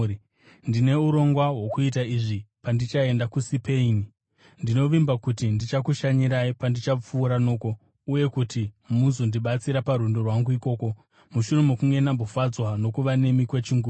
ndine urongwa hwokuita izvi pandichaenda kuSipeini. Ndinovimba kuti ndichakushanyirai pandichapfuura noko uye kuti muzondibatsira parwendo rwangu ikoko, mushure mokunge ndambofadzwa nokuva nemi kwechinguva.